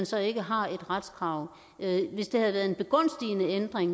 så ikke har et retskrav hvis det havde været en begunstigende ændring